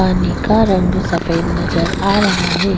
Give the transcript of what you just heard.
पानी का रंग सफ़ेद नज़र आ रहा है।